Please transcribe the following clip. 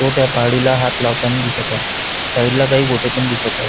तो त्या पहाडीला हात लावतानी दिसत आहे साइड ला काही गोटे पण दिसत आहे.